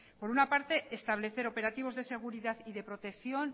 por una parte establecer operativos de seguridad y de protección